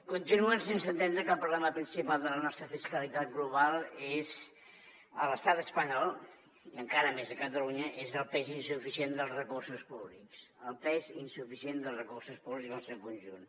continuen sense entendre que el problema principal de la nostra fiscalitat global a l’estat espanyol i encara més a catalunya és el pes insuficient dels recursos públics el pes insuficient dels recursos públics en el seu conjunt